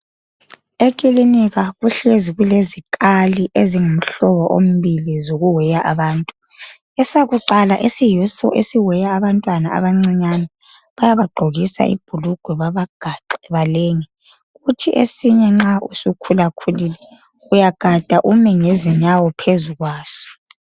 Ekilinika kuhlezi kulezikali eziyimhlobo ombili zokuweya abantu. Esakuqala esiyiso esiweya abantwana abancinyane bayabagqokisa ibhulugwe babagaxe balenge, kuthi esinye nxa usukhulakhulile, uyagada ume ngezinyawo phezu kwaso.